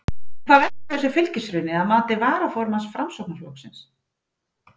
En hvað veldur þessu fylgishruni að mati varaformanns Framsóknarflokksins?